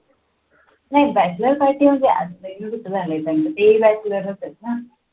नाही bachelor party म्हणजे तेही bachelor च आहेत ना